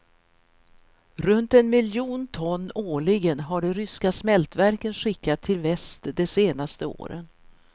Runt en miljon ton årligen har de ryska smältverken skickat till väst de senaste åren.